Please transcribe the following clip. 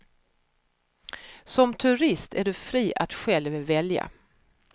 Som turist är du fri att själv välja.